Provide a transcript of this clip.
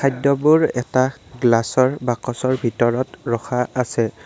খাদ্যবোৰ এটা গ্লাচৰ বাকচৰ ভিতৰত ৰখা আছে।